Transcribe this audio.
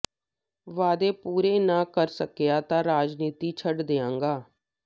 ਵਾਅਦੇ ਪੂਰੇ ਨਾ ਕਰ ਸਕਿਆ ਤਾਂ ਰਾਜਨੀਤੀ ਛੱਡ ਦਿਆਂਗਾ